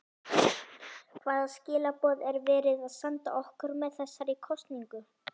María: Og ertu ánægð með þessa hátíð?